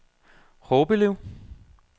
Horbelev